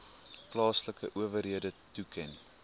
plaaslike owerhede toeken